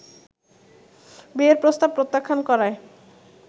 বিয়ের প্রস্তাব প্রত্যাখ্যান করায়